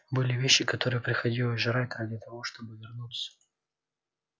были вещи которые приходилось жрать ради того чтобы вернуться